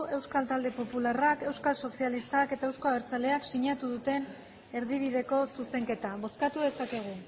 euskal talde popularrak euskal sozialistak eta euzko abertzaleak sinatu duten erdibideko zuzenketa bozkatu dezakegu